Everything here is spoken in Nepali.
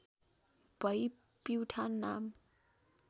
भई पिउठान् नाम